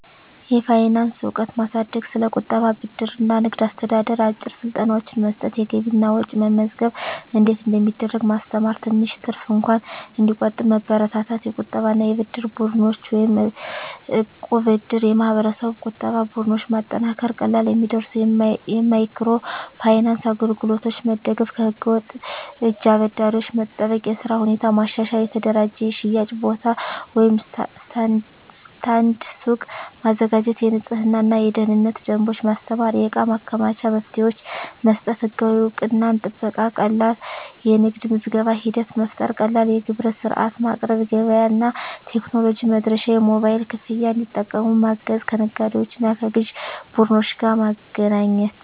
የፋይናንስ እውቀት ማሳደግ ስለ ቁጠባ፣ ብድር እና ንግድ አስተዳደር አጭር ስልጠናዎች መስጠት የገቢና ወጪ መመዝገብ እንዴት እንደሚደረግ ማስተማር ትንሽ ትርፍ እንኳን እንዲቆጠብ መበረታታት የቁጠባና የብድር ቡድኖች (እቃብ/እድር ) የማህበረሰብ ቁጠባ ቡድኖች ማጠናከር ቀላል የሚደርሱ የማይክሮ ፋይናንስ አገልግሎቶች መደገፍ ከህገ-ወጥ እጅ አበዳሪዎች መጠበቅ የሥራ ሁኔታ ማሻሻል የተደራጀ የሽያጭ ቦታ (ስታንድ/ሱቅ) ማዘጋጀት የንፅህናና የደህንነት ደንቦች ማስተማር የእቃ ማከማቻ መፍትሄዎች መስጠት ህጋዊ እውቅናና ጥበቃ ቀላል የንግድ ምዝገባ ሂደት መፍጠር ቀላል የግብር ሥርዓት ማቅረብ ገበያ እና ቴክኖሎጂ መድረሻ የሞባይል ክፍያ እንዲጠቀሙ ማገዝ ከነጋዴዎችና ከግዥ ቡድኖች ጋር ማገናኘት